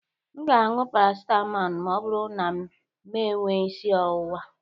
M ga- aṅụ paracetamol ma ọ bụrụ na mee enwe isi ọwụwa.